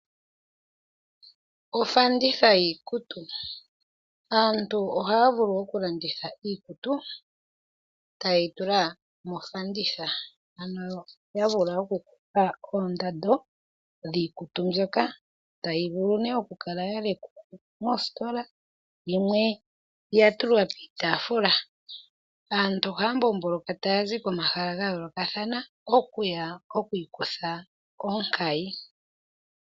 Ofanditha yiikutu Aantu ohaya vulu oku landitha iikutu, taye yi tula mofanditha, ano ya vula oku kulula oondando dhiikutu mbyoka, tayi vulu nee oku kala ya lekwa mositola, yimwe ya tulwa piitaafula. Aantu ohaya mbomboloka taya zi komahala ga yoolokathana oku ya okwiikutha onkayi.